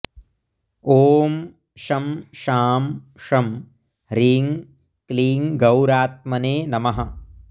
ॐ शं शां षं ह्रीं क्लीं गौरात्मने नमः